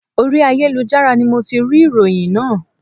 Orí ayélujára ni mo ti rí ìròyìn náà